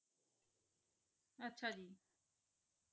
ਆਚਾ ਜੀ